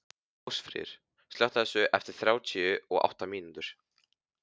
Ásfríður, slökktu á þessu eftir þrjátíu og átta mínútur.